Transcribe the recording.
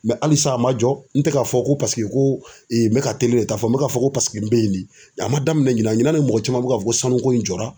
halisa a man jɔ n tɛ k'a fɔ ko paseke ko n bɛ ka de ta fɔ n bɛ k'a fɔ ko paseke n bɛ ye le a man daminɛn ɲina ɲina ne mɔgɔ caman bɛ ka fɔ ko sanuko in jɔra.